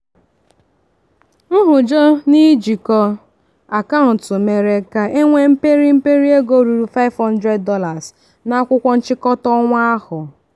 nhụjọ n'ijikọ akaụntụ mere ka e nwee mperi mperi ego ruru $500 na akwụkwọ nchịkọta ọnwa ahụ.